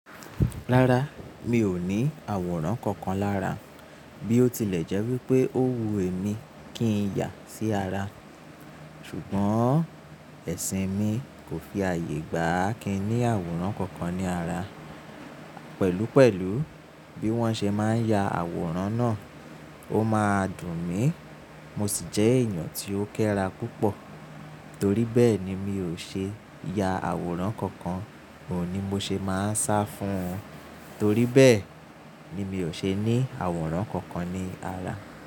Rárá, mi ò ní àwòrán kankan lára. Bí ó tilẹ̀ jẹ́ wípé ó wu èmi kí ń yà sí ara, ṣùgbọ́n ẹ̀sìn mi kò fi ààyè gba kí n ní àwòrán kankan ní ara. Pẹ̀lú pẹ̀lú bí wọ́n ṣe máa ń ya àwòrán náà, ó máa dùn mí, mo sì jẹ́ èèyàn tí ó kéra púpọ̀. Torí bẹ́ẹ̀ ni mi ò ṣe ya àwòrán kankan, ò ní mo ṣe máa sá fún wọn. Torí bẹ́ẹ̀ ni mi ò ṣe ní àwòrán kankan ní ara.